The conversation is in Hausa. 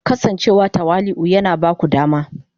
Kasancewa tawali'u yana ba ku dama